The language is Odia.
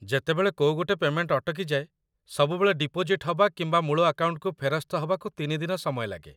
ଯେତେବେଳେ କୋଉ ଗୋଟେ ପେ'ମେଣ୍ଟ ଅଟକିଯାଏ, ସବୁବେଳେ ଡିପୋଜିଟ୍ ହବା କିମ୍ବା ମୂଳ ଆକାଉଣ୍ଟକୁ ଫେରସ୍ତ ହବାକୁ ତିନି ଦିନ ସମୟ ଲାଗେ ।